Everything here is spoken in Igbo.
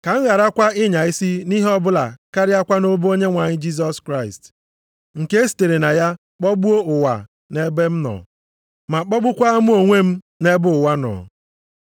Ka m gharakwa ịnya isi nʼihe ọbụla karịakwa nʼobe Onyenwe anyị Jisọs Kraịst. Nke e sitere na ya kpọgbuo ụwa nʼebe m nọ, ma kpọgbukwaa mụ onwe m nʼebe ụwa nọ.